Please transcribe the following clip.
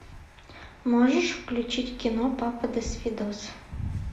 можешь включить кино папа досвидос